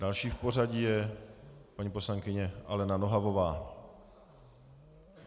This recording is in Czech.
Další v pořadí je paní poslankyně Alena Nohavová.